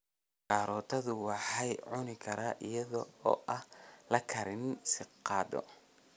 Karootadu waxaa lagu cuni karaa iyadoo aan la karinin sidii qado.